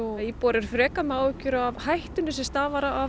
að íbúar eru frekar með áhyggjur af hættunni sem stafar af